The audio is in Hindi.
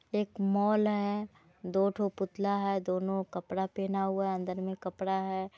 एक मॉल है दोठो पुतला है दोनों कपड़ा पेहेना हुआ है अंदर मे कपड़ा है।